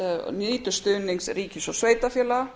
nýtur stuðnings ríkis og sveitarfélaga